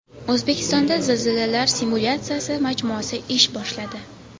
O‘zbekistonda zilzilalar simulyatsiyasi majmuasi ish boshladi.